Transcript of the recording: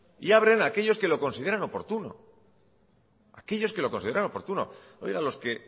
y abren aquellos que lo consideran oportuno aquellos que lo consideran oportuno oiga los que